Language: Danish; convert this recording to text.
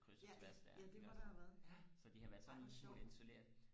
ja ja det må der have været ja ej hvor sjovt